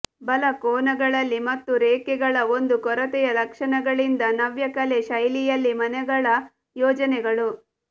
ಬಲ ಕೋನಗಳಲ್ಲಿ ಮತ್ತು ರೇಖೆಗಳ ಒಂದು ಕೊರತೆಯ ಲಕ್ಷಣಗಳಿಂದ ನವ್ಯಕಲೆ ಶೈಲಿಯಲ್ಲಿ ಮನೆಗಳ ಯೋಜನೆಗಳು